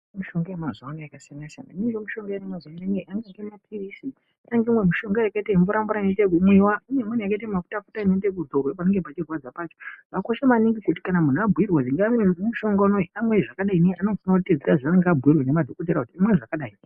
Mishonga yamazuwano yakasiyana -siyana imweni mapirizi imweni mishonga yakaita mvura mvura inomwira imweni yakaita mafuta futa anoita ekudzorwa panenge pachirwadza pacho zvakakosha muntu zvavanenge abhuirwa maererano nemushonga amwe zvakadii aunenge abhuirwa ngemadhokodheya imwe zvakadai.